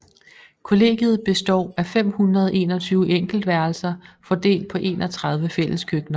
Kollegiet består af 521 enkeltværelser fordelt på 31 fælleskøkkener